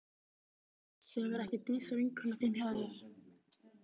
Sefur ekki Dísa, vinkona þín, hjá þér?